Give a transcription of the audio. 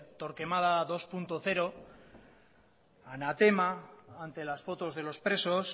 torquemada dos punto cero anatema ante las fotos de los presos